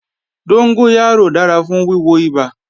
Dóngóyárò dára fún wíwo ibà